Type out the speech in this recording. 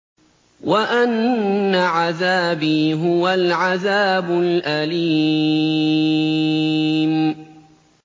وَأَنَّ عَذَابِي هُوَ الْعَذَابُ الْأَلِيمُ